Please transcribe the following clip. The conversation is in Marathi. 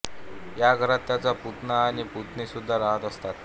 या घरात त्यांचा पुतणा आणि पुतणी सुद्धा रहात असतात